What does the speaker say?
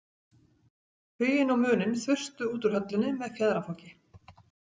Huginn og Muninn þustu út úr höllinni með fjaðrafoki.